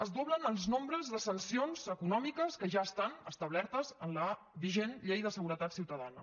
es doblen els nombres de sancions econòmiques que ja estan establertes en la vigent llei de seguretat ciutadana